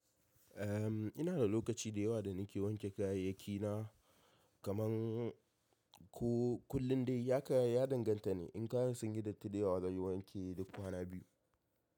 Eh ina da lokaci da yawa da nake wanke kayayyaki na kaman ko kullum dai. Ya ka ya danganta ne. In kayan sun yi datti dayawa zan yi wanke duk kwana biyu.